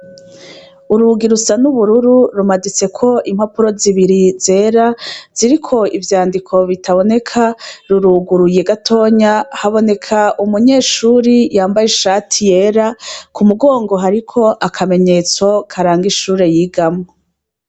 Urugi rusanubururu rumaditseko impapuro zibiri zera ziriko ivyandiko bitaboneka ruruguruye gatonya haboneka umunyeshuri yambaye ishati yera kumugongo hariko akamenyetso karanga ishure yigamwo